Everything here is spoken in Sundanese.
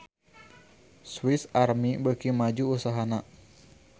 Swis Army beuki maju usahana